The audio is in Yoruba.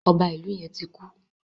Ọba Ìlu yén ti kú.